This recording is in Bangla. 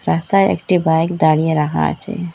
রাস্তায় একটি বাইক দাঁড়িয়ে রাখা আছে।